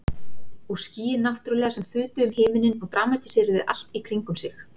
Og skýin náttúrlega sem þutu um himininn og dramatíseruðu allt í kringum sig.